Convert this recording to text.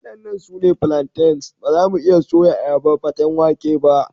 Waɗannan su ne plantains, ba za mu iya soya ayaba paten wake ba.